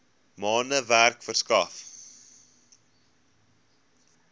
maande werk verskaf